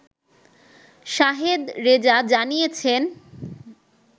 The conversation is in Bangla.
শাহেদ রেজা জানিয়েছেন